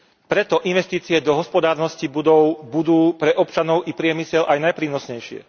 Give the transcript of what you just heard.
Preto investície do hospodárnosti budov budú pre občanov i priemysel aj najprínosnejšie.